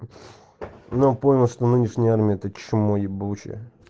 но понял что нынешняя армия это чмо ебучее